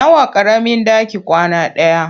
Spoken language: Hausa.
Nawa ƙaramin ɗaki kwana ɗaya?